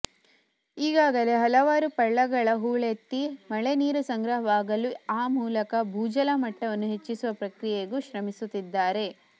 ಈಗಾಗಲೇ ಹಲವಾರು ಪಳ್ಳಗಳ ಹೂಳೆತ್ತಿ ಮಳೆ ನೀರು ಸಂಗ್ರಹವಾಗಲು ಆ ಮೂಲಕ ಭೂಜಲಮಟ್ಟವನ್ನು ಹೆಚ್ಚಿಸುವ ಪ್ರಕ್ರಿಯೆಗೂ ಶ್ರಮಿಸುತ್ತಿದ್ದಾರೆ